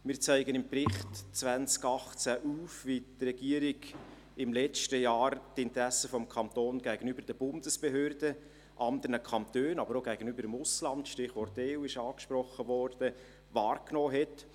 Wir zeigen im Bericht 2018 auf, wie die Regierung im letzten Jahr die Interessen des Kantons gegenüber den Bundesbehörden, anderen Kantonen, aber auch gegenüber dem Ausland – das Stichwort EU ist angesprochen worden – wahrgenommen hat.